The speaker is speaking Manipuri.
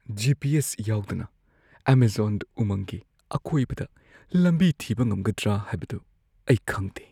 ꯖꯤ. ꯄꯤ. ꯑꯦꯁ. ꯌꯥꯎꯗꯅ ꯑꯦꯃꯖꯣꯟ ꯎꯃꯪꯒꯤ ꯑꯀꯣꯏꯕꯗ ꯂꯝꯕꯤ ꯊꯤꯕ ꯉꯝꯒꯗ꯭ꯔꯥ ꯍꯥꯏꯕꯗꯨ ꯑꯩ ꯈꯪꯗꯦ ꯫